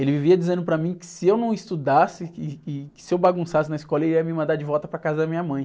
Ele vivia dizendo para mim que se eu não estudasse, que se eu bagunçasse na escola, ele ia me mandar de volta para a casa da minha mãe.